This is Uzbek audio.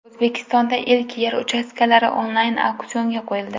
O‘zbekistonda ilk yer uchastkalari onlayn auksionga qo‘yildi.